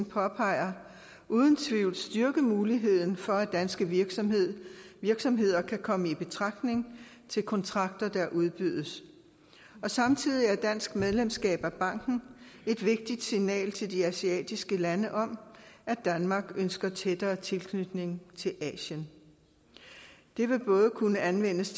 påpeger uden tvivl styrke muligheden for at danske virksomheder virksomheder kan komme i betragtning til kontrakter der udbydes og samtidig er dansk medlemskab af banken et vigtigt signal til de asiatiske lande om at danmark ønsker en tættere tilknytning til asien det vil kunne anvendes